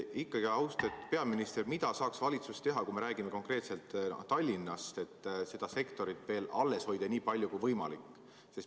Ikkagi, austatud peaminister, mida saaks valitsus teha, kui me räägime konkreetselt Tallinnast, et seda sektorit veel alles hoida, nii palju kui võimalik?